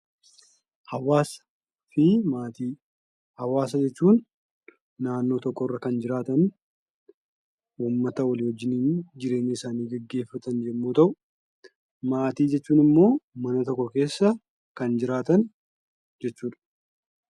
Hawaasa jechuun naannoo tokko irra kan jiraatan uummata wajjiniin jireenya isaanii gaggeeffatan yemmuu ta'u, maatii jechuun ammoo mana tokko keessa kan jiraatan jechuudha.